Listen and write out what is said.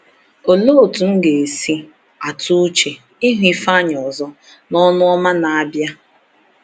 “Olee otú m ga-esi atụ uche ịhụ Ifeanyi ọzọ n’Ọnụ Ọma na-abịa!”